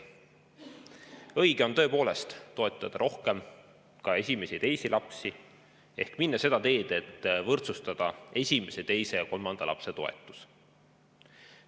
Õige on tõepoolest toetada rohkem ka esimesi ja teisi lapsi ehk minna seda teed, et võrdsustada esimese, teise ja kolmanda lapse toetus.